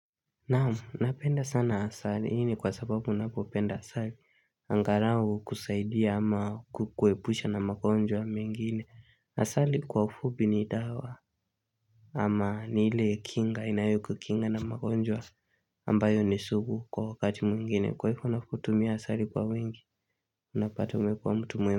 Naam, napenda sana asali hii ni kwa sababu unapopenda asali angalau hukusaidia ama kukuepusha na magonjwa mengine asali kwa ufupi ni dawa ama ni ile kinga inayokukinga na magonjwa ambayo ni sugu kwa wakati mwingine, kwa hivo unapotumia asali kwa wingi unapata umekuwa mtu mwema.